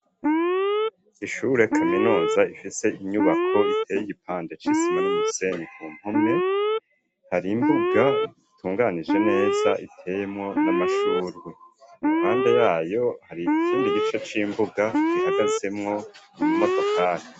Ishure kaminuza ifise inyubako iteye igipande c'isima n'umuseni ku mpume hari imbuga itunganije neza iteyemwo n'amashurwe, impande yayo hari ikindi gice c'imbuga gihagazemwo imodokari.